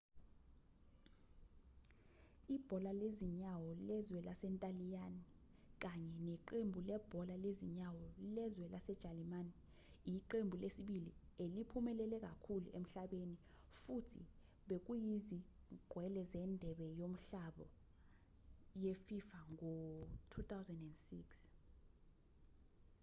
ibhola lezinyawo lezwe lasentaliyane kanye neqembu lebhola lezinyawo lezwe lasejalimane iqembu lesibili eliphumelele kakhulu emhlabeni futhi bekuyizingqwele zendebe yomhlaba yefifa ngo-2006